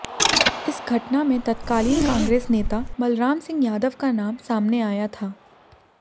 इस घटना में तत्कालीन कांग्रेस नेता बलराम सिंह यादव का नाम सामने आया था